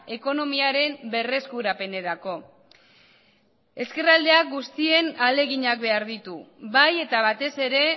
ekonomiaren berreskurapenerako ezkerraldea guztien ahaleginak behar ditu bai eta batez ere